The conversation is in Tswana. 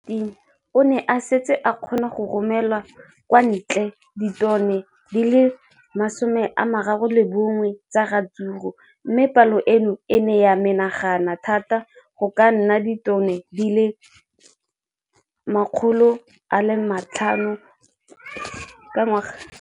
Ka ngwaga wa 2015, o ne a setse a kgona go romela kwa ntle ditone di le 31 tsa ratsuru mme palo eno e ne ya menagana thata go ka nna ditone di le 168 ka ngwaga wa 2016.